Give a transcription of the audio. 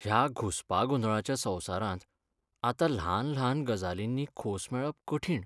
ह्या घुसपागोंदळाच्या संवसारांत आतां ल्हान ल्हान गजालींनी खोस मेळप कठीण.